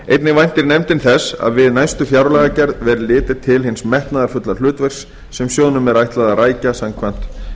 einnig væntir nefndin þess að við næstu fjárlagagerð verði litið til hins metnaðarfulla hlutverks sem sjóðnum er ætlað að rækja samkvæmt